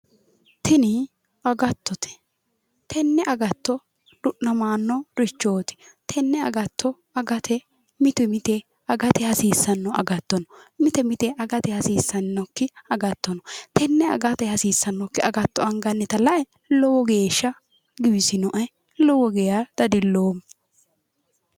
tini agattote tenne agatto du'namannorichooti tenne agatto agate mite mite agate hasiissanno agatto no mite mite agate hasiissannokki agatto no tenne agate hasiissannokki agatto angannita lae lowo geeshshsha giwisinoe lowo geeshsha dadilloomma.